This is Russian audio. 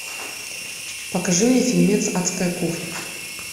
покажи мне фильмец адская кухня